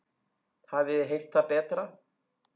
Hafið þið heyrt það betra?